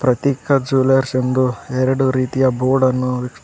ಪ್ರತೀಕ ಜ್ಯುಯೆಲರ್ಸ್ ಎಂದು ಎರಡು ರೀತಿಯ ಬೋರ್ಡನ್ನು--